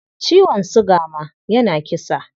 Ciwon suga ma yana kisa.